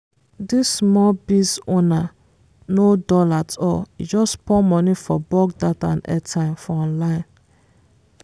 dis small biz owner no dull at all e just pour money for bulk data and airtime for online.